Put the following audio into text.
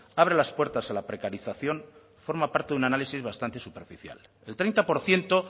abre las puertas a la precarización forma parte de un análisis bastante superficial el treinta por ciento